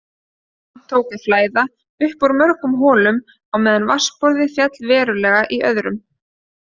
Vatn tók að flæða upp úr mörgum holum á meðan vatnsborð féll verulega í öðrum.